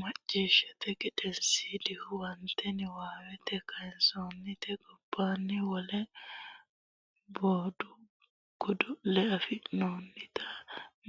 Macciishshate Gedensiidi Huwato Niwaawete kayinsoonnite gobbaanni wole budu godo le affinoonnita